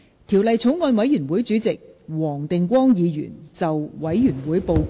條例草案委員會主席黃定光議員就委員會報告，向本會發言。